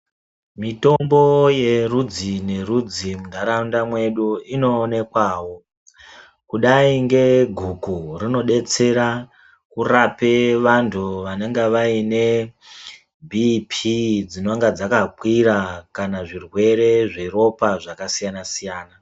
Mitombo yerudzi nerudzi mundaraunda mwedu inoonekwawo kudai ngeguku rinodetsera kurape vantu vanonga vaine bipii dzinonga dzakakwira kana zvirwere zveropa zvakasiyana siyana.